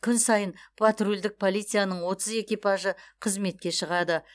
күн сайын патрульдік полицияның отыз экипажы қызметке шығады